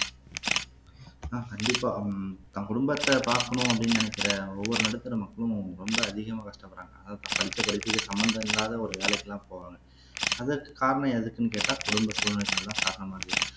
அஹ் கண்டிப்பா உம் தன் குடும்பத்த பாக்கணும் அப்படீன்னு நினைக்கிற ஒவ்வொரு நடுத்தர மக்களும் ரொம்ப அதிகமா கஷ்டப்படுறாங்க அதாவது படிச்ச படிப்புக்கு சம்பந்தம் இல்லாத ஒரு வேலைக்கெல்லாம் போவாங்க அதற்கு காரணம் எதுக்குன்னு கேட்டா குடும்ப சூழ்நிலைகள்தான் காரணமா இருக்கு